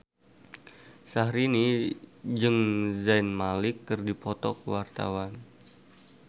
Syahrini jeung Zayn Malik keur dipoto ku wartawan